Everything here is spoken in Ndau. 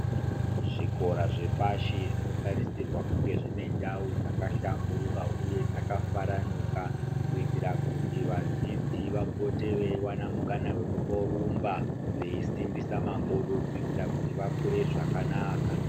Zvikora zvepashi zvinotarisirwa kunga dzinendau dzakahlamburuka uye dzakafaranuka kuitira kuti vadzidzi vapote vewana mukana wekumborumba veisimbisa makodoko kuti vakure zvakanaka.